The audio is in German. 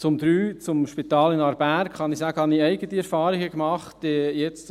Zum Punkt 3, zum Spital in Aarberg, kann ich sagen, dass ich eigene Erfahrungen gemacht habe.